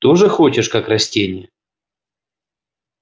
тоже хочешь как растение